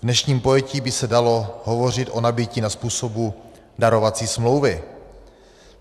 V dnešním pojetí by se dalo hovořit o nabytí na způsob darovací smlouvy.